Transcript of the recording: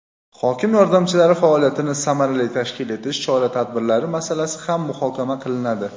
hokim yordamchilari faoliyatini samarali tashkil etish chora-tadbirlari masalasi ham muhokama qilinadi.